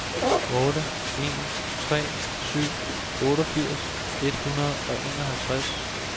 otte en tre syv otteogfirs et hundrede og enoghalvtreds